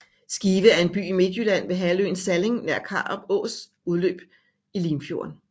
Skive er en by i Midtjylland ved halvøen Salling nær Karup Ås udløb i Limfjorden